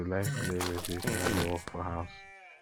i dey like to play music wen i dey work for house